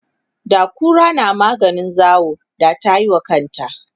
da kura na maganin zawo da tayiwa kanta